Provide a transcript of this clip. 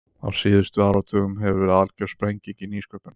Á síðustu áratugum hefur verið algjör sprenging í nýsköpun.